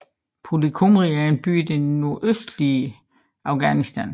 Puli Kumri er en by i det nordøstlige Afghanistan